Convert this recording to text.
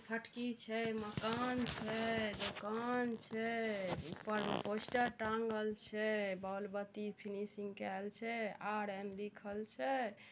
छे मकान छे दुकान छे उपर में पोस्टर टाँगल छे बोल -बत्ती छे आर_एन लिखल छे।